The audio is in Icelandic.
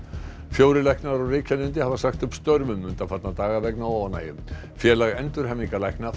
fjórir læknar á Reykjalundi hafa sagt upp störfum undanfarna daga vegna óánægju félag